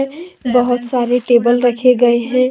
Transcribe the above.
बहुत सारे टेबल रखे गए हैं।